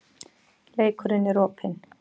Leikurinn er opinn